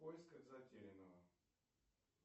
в поисках затерянного